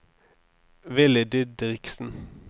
Villy Didriksen